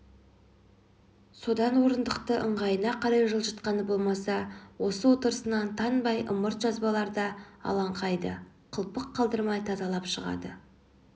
содан орындықты ыңғайына қарай жылжытқаны болмаса осы отырысынан танбай ымырт жабыларда алаңқайды қылпық қалдырмай тазалап шығады